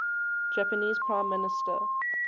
japanese prime minister